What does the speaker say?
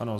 Ano.